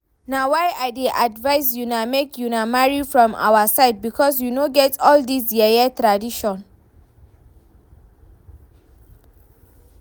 Na why I dey advise una make una marry from our side because we no get all dis yeye tradition